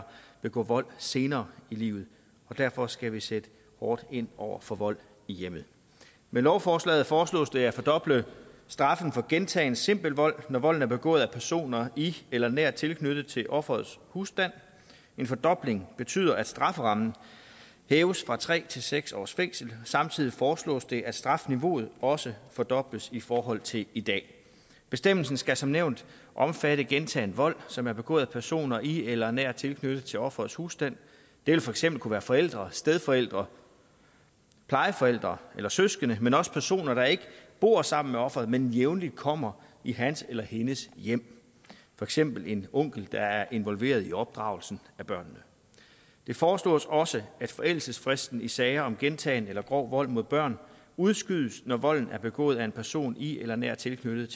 begå vold senere i livet og derfor skal vi sætte hårdt ind over for vold i hjemmet med lovforslaget foreslås det at fordoble straffen for gentagen simpel vold når volden er begået af personer i eller nært tilknyttet til offerets husstand en fordobling betyder at strafferammen hæves fra tre til seks års fængsel samtidig foreslås det at strafniveauet også fordobles i forhold til i dag bestemmelsen skal som nævnt omfatte gentagen vold som er begået af personer i eller nært tilknyttet til offerets husstand det vil for eksempel kunne være forældre stedforældre plejeforældre eller søskende men også personer der ikke bor sammen med offeret men jævnligt kommer i hans eller hendes hjem for eksempel en onkel der er involveret i opdragelsen af børnene det foreslås også at forældelsesfristen i sager om gentagen eller grov vold mod børn udskydes når volden er begået af en person i eller nært tilknyttet